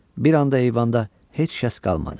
Bir anda eyvanda heç kəs qalmadı.